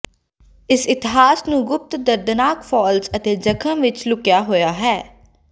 ਇਸ ਇਤਿਹਾਸ ਨੂੰ ਗੁਪਤ ਦਰਦਨਾਕ ਫਾਲ੍ਸ ਅਤੇ ਜਖਮ ਵਿਚ ਲੁਕਿਆ ਹੋਇਆ ਹੈ